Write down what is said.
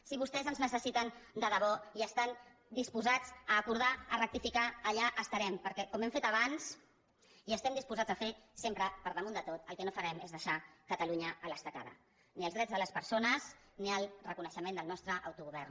si vostès ens necessiten de debò i estan disposats a acordar a rectificar allà estarem perquè com hem fet abans i estem disposats a fer sempre per damunt de tot el que no farem és deixar catalunya a l’estacada ni els drets de les persones ni el reconeixement del nostre auto govern